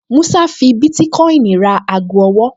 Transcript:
Músá fi bítíkọ́ìnì ra ago ọwọ́